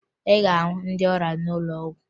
Ị ga-ahụ ndị ọrịa n'ụlọ ọgwụ